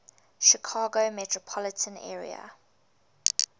chicago metropolitan area